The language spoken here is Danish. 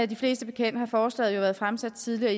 de fleste bekendt har forslaget været fremsat tidligere